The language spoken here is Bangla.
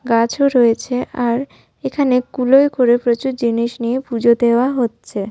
গাছও রয়েছে আর এখানে কুলোয় করে প্রচুর জিনিস নিয়ে পুজো দেওয়া হচ্ছে।